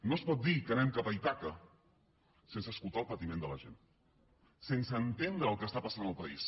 no es pot dir que anem cap a ítaca sense escoltar el patiment de la gent sense entendre el que està passant al país